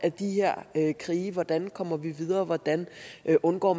af de her krige hvordan vi kommer videre og hvordan man undgår